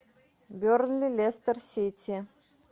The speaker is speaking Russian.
бернли лестер сити